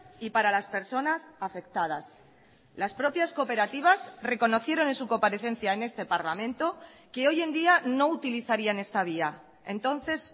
y para las personas afectadas las propias cooperativas reconocieron en su comparecencia en este parlamento que hoy en día no utilizarían esta vía entonces